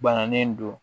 Bananen don